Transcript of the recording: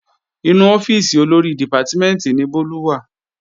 Inú ọ́fíìsì Olórí dìpátímẹ̀ntì ni Bólú wà